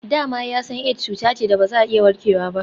Da ma ya san Aids cuta ce da ba za a iya warkewa ba.